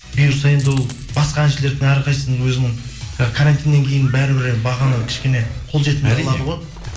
бұйырса енді ол басқа әншілердің әрқайсысының өзінің карантиннен кейін бәрібір бағаны кішкене қолжетімді қылады ғой